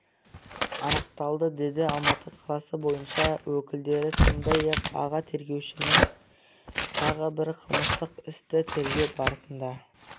анықталды деді алматы қаласы бойынша өкілдері сондай-ақ аға тергеушінің тағы бір қылмыстық істі тергеу барысында